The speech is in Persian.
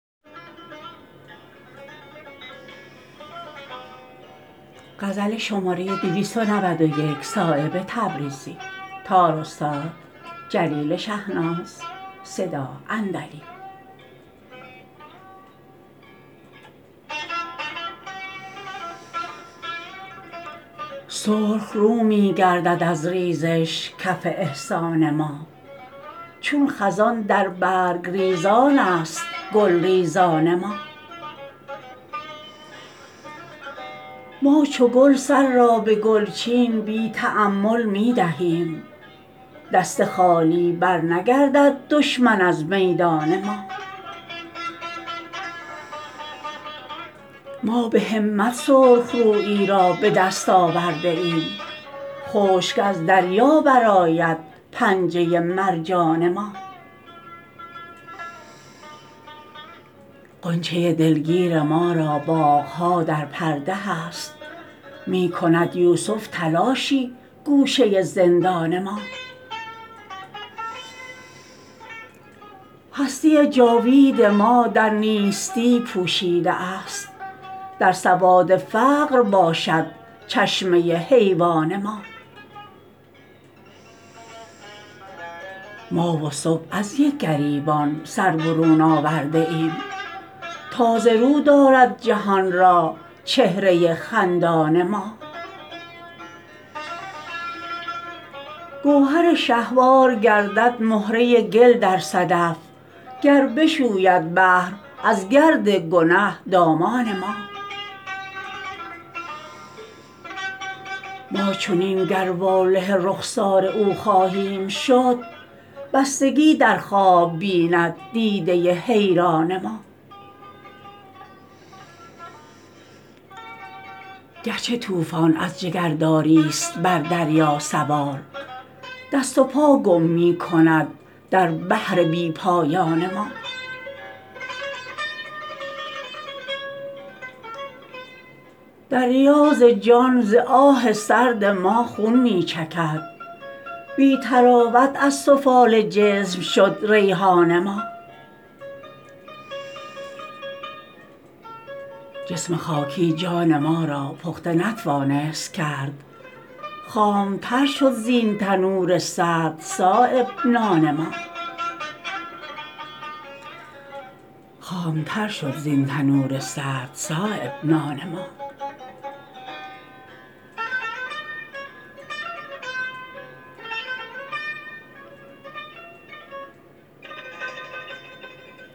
سرخ رو می گردد از ریزش کف احسان ما چون خزان در برگریزان است گلریزان ما ما چو گل سر را به گلچین بی تأمل می دهیم دست خالی برنگردد دشمن از میدان ما ما به همت سرخ رویی را به دست آورده ایم خشک از دریا برآید پنجه مرجان ما غنچه دلگیر ما را باغ ها در پرده هست می کند یوسف تلاش گوشه زندان ما هستی جاوید ما در نیستی پوشیده است در سواد فقر باشد چشمه حیوان ما ما و صبح از یک گریبان سر برون آورده ایم تازه رو دارد جهان را چهره خندان ما گوهر شهوار گردد مهره گل در صدف گر بشوید بحر از گرد گنه دامان ما ما چنین گر واله رخسار او خواهیم شد بستگی در خواب بیند دیده حیران ما گرچه طوفان از جگرداری است بر دریا سوار دست و پا گم می کند در بحر بی پایان ما در ریاض جان ز آه سرد ما خون می چکد بی طراوت از سفال جسم شد ریحان ما جسم خاکی جان ما را پخته نتوانست کرد خامتر شد زین تنور سرد صایب نان ما